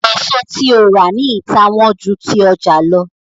èso tí o rà ní ita wón jù ti ọja ló